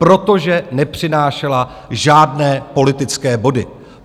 Protože nepřinášela žádné politické body.